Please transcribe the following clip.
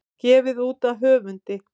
Gefið út af höfundi.